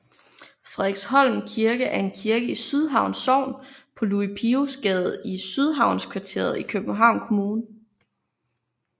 Frederiksholm Kirke er en kirke i Sydhavn Sogn på Louis Pios Gade i Sydhavnskvarteret i Københavns Kommune